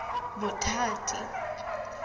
bothati